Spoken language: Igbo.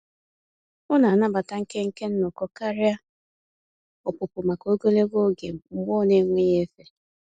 Ọ na-anabata nkenke nnọkọ karịa ọpụpụ maka ogologo oge mgbe ọ n'enweghị efe.